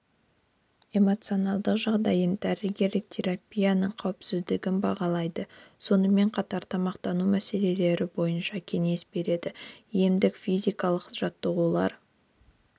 эмоциналдық жағдайын дәрілік терапияның қауіпсіздігін бағалайды сонымен қатар тамақтану мәселелері бойынша кеңес береді емдік-физикалық жаттығулар